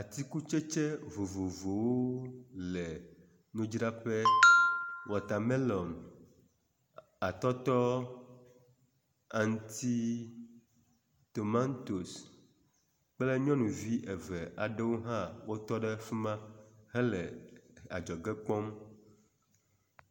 tsikutsetse vovovowo le ŋudzraƒe watermelon atɔtɔ aŋti tomantos kple nyɔnuvi eve aɖewo hã wotɔɖe afima hele adzɔge kpɔm